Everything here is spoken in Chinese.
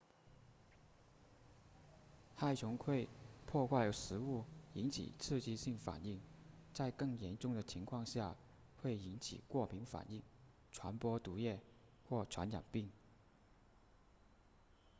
害虫会破坏食物引起刺激性反应在更严重的情况下会引起过敏反应传播毒液或传染病